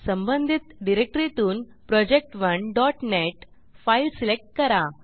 संबंधित डिरेक्टरीतून project1नेट फाईल सिलेक्ट करा